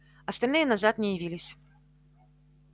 остальные назад не явились